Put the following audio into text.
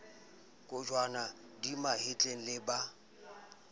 kojwana di mahetleng le ba